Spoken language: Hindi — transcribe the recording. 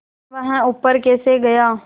वह ऊपर कैसे गया